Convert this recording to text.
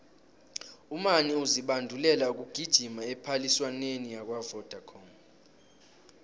umani uzibandulela ukugijima ephaliswaneni lakwavodacom